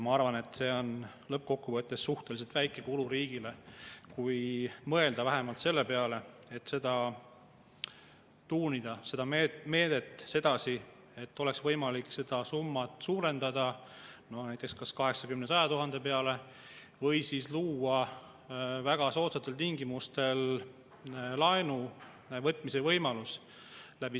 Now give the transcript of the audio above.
Ma arvan, et see on lõppkokkuvõttes suhteliselt väike kulu riigile, kui mõelda vähemalt selle peale, et tuunida seda meedet sedasi, et oleks võimalik seda summat suurendada näiteks kas 80 000 või 100 000 peale või siis luua väga soodsatel tingimustel laenuvõtmise võimalus.